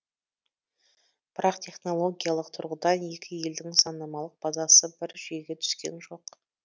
бірақ технологиялық тұрғыдан екі елдің заңнамалық базасы бір жүйеге түскен жоқ